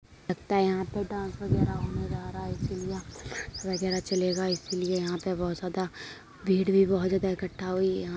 लगता है यहां पर डांस वगैरह होने जा रहा है इसलिए यहां पर वगैरा चलेगा इसीलिए यहाँ पे बहुत ज्यादा भीड़ भी बहुत ज्यादा इकट्ठा हुई है। यहाँ --